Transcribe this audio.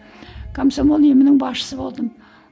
комсомол ұйымының басшысы болдым